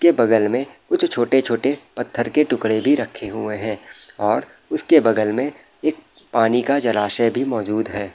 के बगल में कुछ छोटे-छोटे पत्थर के टुकड़े भी रखे हुए है और उसके बगल में एक पानी का जलाशय भी मौजूद है।